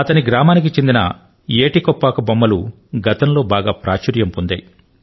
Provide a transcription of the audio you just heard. ఆయన గ్రామానికి చెందిన ఏటి కొప్పాక బొమ్మలు గతంలో బాగా ప్రాచుర్యం పొందాయి